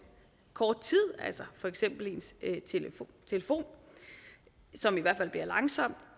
kort tid for eksempel ens telefon som i hvert fald bliver langsom